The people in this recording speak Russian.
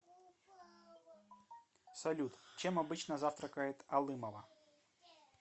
салют чем обычно завтракает алымова